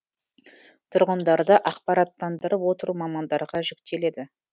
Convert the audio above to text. тұрғындарды ақпараттандырып отыру мамандарға жүктеледі